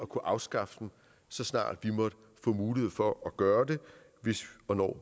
kunne afskaffe dem så snart vi måtte få mulighed for at gøre det hvis og når